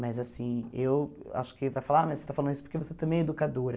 Mas assim, eu acho que vai falar, mas você está falando isso porque você também é educadora.